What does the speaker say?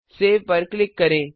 save पर click करें